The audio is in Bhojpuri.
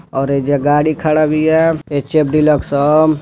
और एजा गाड़ी खड़ा बिया एच ऍफ़ डीलक्स ह।